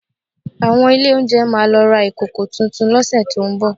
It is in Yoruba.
Àwọn ilé oúnjẹ máa lọ ra ìkòkò tuntun lọ́sẹ̀ tó ń bọ̀